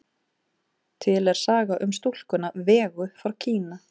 Til er saga um stúlkuna Vegu frá Kína.